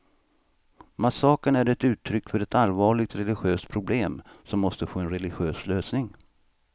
Massakern är ett uttryck för ett allvarligt religiöst problem, som måste få en religiös lösning.